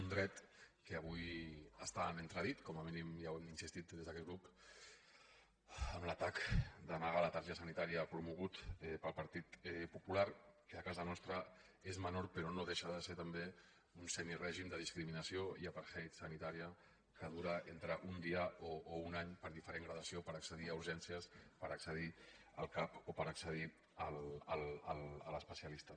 un dret que avui està en entredit com a mínim ja hi hem insistit des d’aquest grup amb l’atac de negar la targeta sanitària promogut pel partit popular que a casa nostra és menor però no deixa de ser també un semirègim de discriminació i apartheid sanitari que dura entre un dia o un any per diferent gradació per accedir a urgències per accedir al cap o per accedir a l’especialista